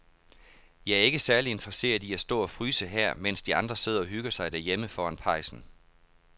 Jeg er ikke særlig interesseret i at stå og fryse her, mens de andre sidder og hygger sig derhjemme foran pejsen.